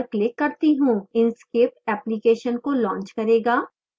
inkscape application को launch करेगा